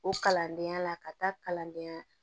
O kalandenya la ka taa kalandenya